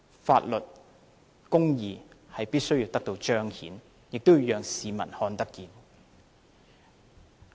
法律和公義必須得到彰顯，也要讓市民看見。